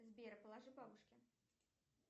сбер положи бабушке